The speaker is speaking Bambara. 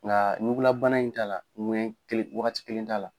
Nga ɲugula bana in t'a la, wagati kelen t'a la.